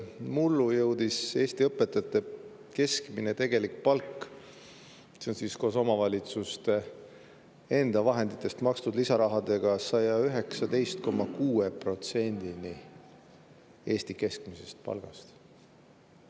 Mullu jõudis Eesti õpetajate tegelik keskmine palk – koos omavalitsuste enda vahenditest makstud lisarahaga – 119,6%‑ni Eesti keskmisest palgast.